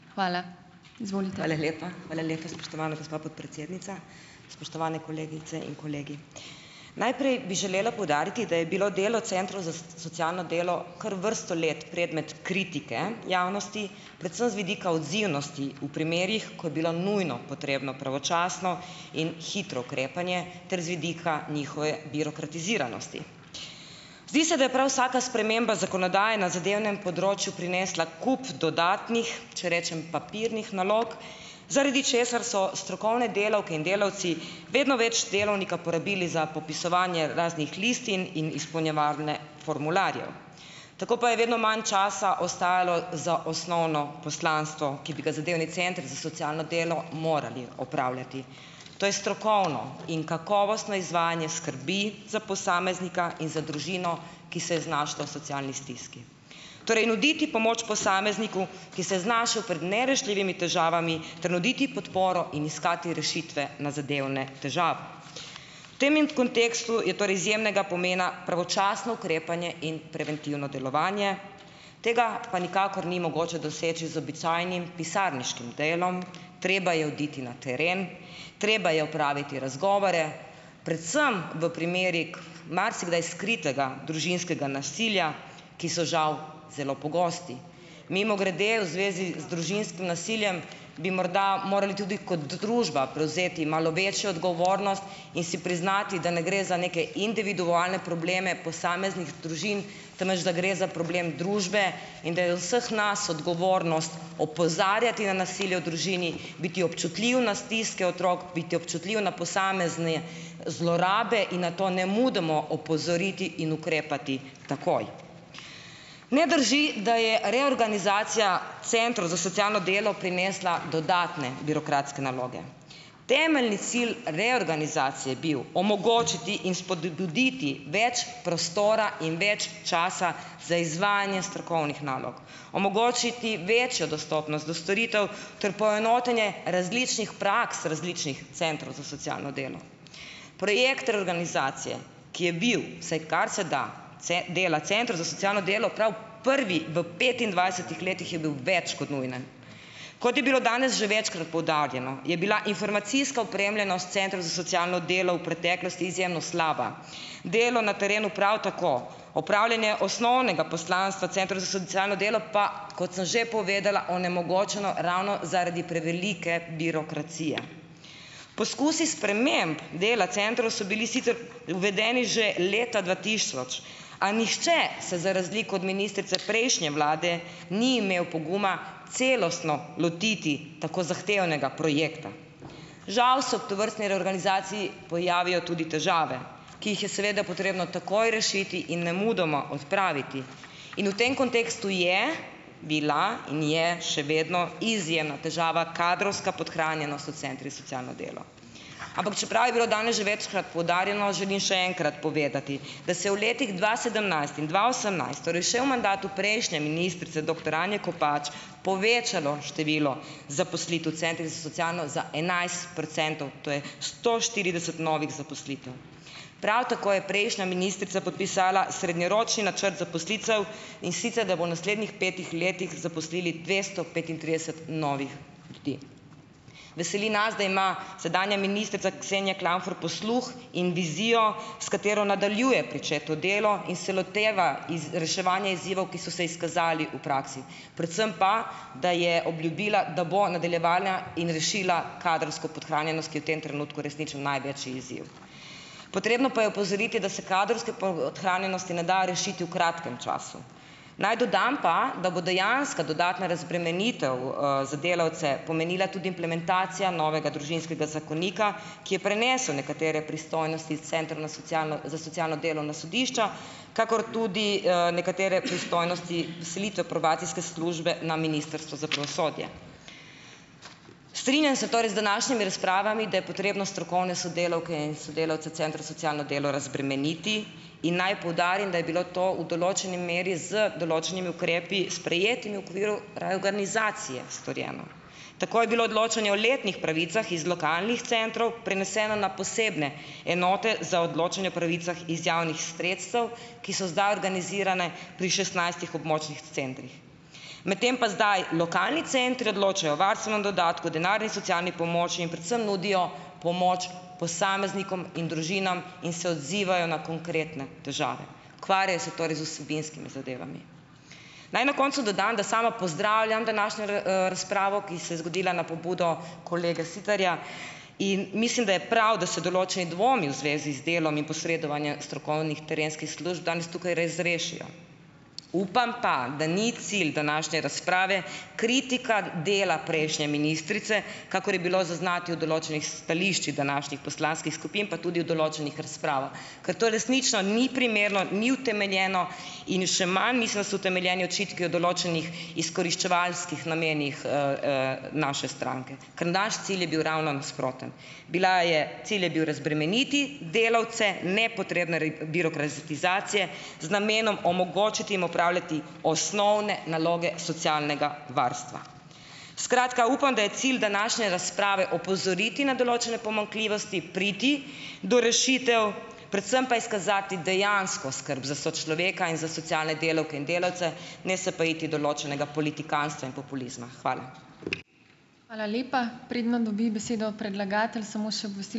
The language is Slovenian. Hvala lepa, spoštovana gospa podpredsednica. Spoštovane kolegice in kolegi! Najprej bi želela poudariti, da je bilo delo centrov za socialno delo kar vrsto let predmet kritike javnosti, predvsem z vidika odzivnosti v primerih, ko je bilo nujno potrebno pravočasno in hitro ukrepanje ter z vidika njihove birokratiziranosti. Zdi se, da je prav vsaka sprememba zakonodaje na zadevnem področju prinesla kup dodatnih, če rečem papirnih nalog, zaradi česar so strokovne delavke in delavci vedno več delovnika porabili za popisovanje raznih listin in izpolnjevanje formularjev, tako pa je vedno manj časa ostajalo za osnovno poslanstvo, ki bi ga zadevni centri za socialno delo morali opravljati, to je strokovno in kakovostno izvajanje skrbi za posameznika in za družino, ki se je znašla v socialni stiski, torej nuditi pomoč posamezniku, ki se je znašel pred nerešljivimi težavami ter nuditi podporo in iskati rešitve na zadevne težave. Tem in kontekstu je torej izjemnega pomena pravočasno ukrepanje in preventivno delovanje, tega pa nikakor ni mogoče doseči z običajnim pisarniškim delom. Treba je oditi na teren, treba je opraviti razgovore, predvsem v primerih marsikdaj skritega družinskega nasilja, ki so žal zelo pogosti. Mimogrede, v zvezi z družinski nasiljem bi morda morali tudi kot družba prevzeti malo večjo odgovornost in si priznati, da ne gre za neke individualne probleme posameznih družin, temveč da gre za problem družbe in da je od vseh nas odgovornost opozarjati na nasilje v družini, biti občutljiv na stiske otrok, biti občutljiv na posamezne zlorabe in nato nemudoma opozoriti in ukrepati takoj. Ne drži, da je reorganizacija centrov za socialno delo prinesla dodatne birokratske naloge. Temeljni cilj reorganizacije je bil omogočiti in spodbuditi več prostora in več časa za izvajanje strokovnih nalog, omogočiti večjo dostopnost do storitev ter poenotenje različnih praks različnih centrov za socialno delo. Projekt reorganizacije, ki je bil, vsaj kar se dela centrov za socialno delo prav prvi v petindvajsetih letih, je bil več kot nujen. Kot je bilo danes že večkrat poudarjeno, je bila informacijska opremljenost centrov za socialno delo v preteklosti izjemno slaba. Delo na terenu prav tako. Opravljanje osnovnega poslanstva centrov za socialno delo pa, kot sem že povedala, onemogočeno ravno zaradi prevelike birokracije. Poskusi sprememb dela centrov so bili sicer uvedeni že leta dva tisoč, a nihče se za razliko od ministrice prejšnje vlade ni imel poguma celostno lotiti tako zahtevnega projekta. Žal se ob tovrstni reorganizaciji pojavijo tudi težave, ki jih je seveda potrebno takoj rešiti in nemudoma odpraviti, in v tem kontekstu je bila in je še vedno izjemna težava kadrovska podhranjenost v centrih za socialno delo. Ampak čeprav je bilo danes že večkrat poudarjeno, želim še enkrat povedati, da se v letih dva sedemnajst in dva osemnajst, torej še v mandatu prejšnje ministrice doktor Anje Kopač, povečalo število zaposlitev centrih za socialno za enajst procentov, to je sto štirideset novih zaposlitev. Prav tako je prejšnja ministrica podpisala srednjeročni načrt zaposlitev, in sicer, da bo v naslednjih petih letih zaposlili dvesto petintrideset novih ljudi. Veseli nas, da ima sedanja ministrica Ksenja Klampfer posluh in vizijo, s katero nadaljuje pričeto delo in se loteva iz reševanja izzivov, ki so se izkazali v praksi, predvsem pa, da je obljubila, da bo nadaljevala in rešila kadrovsko podhranjenost, ki je v tem trenutku resnično največji izziv. Potrebno pa je opozoriti, da se kadrovske podhranjenosti ne da rešiti v kratkem času. Naj dodam pa, da bo dejanska dodatna razbremenitev, za delavce pomenila tudi implementacija novega družinskega zakonika, ki je prenesel nekatere pristojnosti centrov na socialno za socialno delo na sodišča, kakor tudi nekatere, pristojnosti selitve probacijske službe na Ministrstvo za pravosodje. Strinjam se torej z današnjimi razpravami, da je potrebno strokovne sodelavke in sodelavce centrov socialno delo razbremeniti, in naj poudarim, da je bilo to v določeni meri z določenimi ukrepi sprejetimi v okviru reorganizacije storjeno. Tako je bilo odločanje o letnih pravicah iz lokalnih centrov preneseno na posebne enote za odločanje o pravicah iz javnih sredstev, ki so zdaj organizirane pri šestnajstih območnih centrih. Medtem pa zdaj lokalni centri odločajo o varstvenem dodatku, denarni socialni pomoči in predvsem nudijo pomoč posameznikom in družinam in se odzivajo na konkretne težave, Ukvarjajo se torej z vsebinskimi zadevami. Naj na koncu dodam, da sama pozdravljam današnjo razpravo, ki se je zgodila na pobudo kolega Siterja, in mislim, da je prav, da se določeni dvomi v zvezi z delom in posredovanje strokovnih terenskih služb danes tukaj res rešijo. Upam, pa da ni cilj današnje razprave kritika dela prejšnje ministrice, kakor je bilo zaznati v določenih stališči današnjih poslanskih skupin, pa tudi v določenih razpravah, ker to resnično ni primerno, ni utemeljeno, in še manj mislim, da so utemeljeni očitki o določenih izkoriščevalskih namenih, naše stranke. Ker naš cilj je bil ravno nasproten. Bila je, cilj je bil razbremeniti delavce nepotrebne birokratizacije z namenom omogočiti jim opravljati osnovne naloge socialnega varstva. Skratka, upam, da je cilj današnje razprave opozoriti na določene pomanjkljivosti, priti do rešitev, predvsem pa izkazati dejansko skrb za sočloveka in za socialne delavke in delavce, ne se pa iti določenega politikantstva in populizma. Hvala.